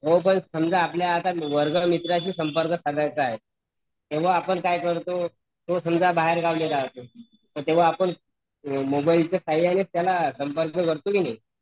पण आता समजा आपल्याला आंपल्या वर्गमित्राशी संपर्क साधायचं आहे तेव्हा आपण काय करतो समजा तो बाहेर गावी राहतो तेव्हा आपण मोबाईल च्या सहाय्यनी च त्याला संपर्क करतो की नाही